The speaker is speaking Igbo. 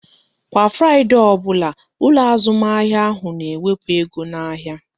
Kwa Fraịdee ọbụla, ụlọ azụmahịa ahụ n'ewepu ego n'ahịa